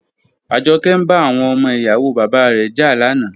Ajoke n ba awon omo iyawo baba re ja lana.